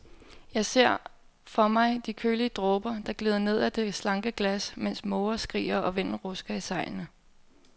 Jeg ser for mig de kølige dråber, der glider ned ad det slanke glas, mens måger skriger og vinden rusker i sejlene.